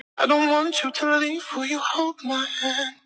Svo óskaplega lítill.